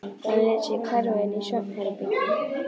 Hann lét sig hverfa inn í svefnherbergi.